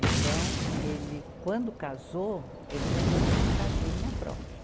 Então, ele quando casou, ele já foi para uma casinha própria.